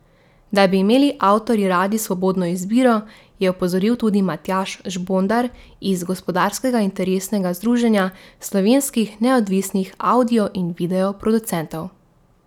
Da bi imeli avtorji radi svobodno izbiro, je opozoril tudi Matjaž Žbontar iz Gospodarskega interesnega združenja slovenskih neodvisnih avdio in video producentov.